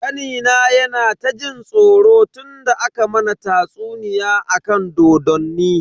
Kanina yana ta jin tsoro tunda aka mana tatsuniya akan dodonni.